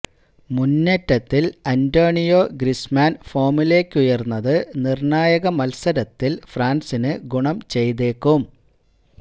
മുന്നേറ്റത്തില് Antonio Griezmann ഫോമിലേക്കുയര്ന്നത് നിര്ണായക മത്സരത്തില് ഫ്രാന്സിന് ഗുണം ചെയ്തേക്കും